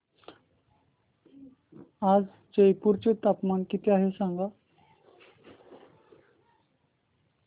आज जयपूर चे तापमान किती आहे सांगा